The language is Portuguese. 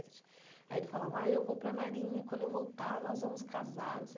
aí ele falava ai eu vou para a marinha e, quando eu voltar, nós vamos casar não sei.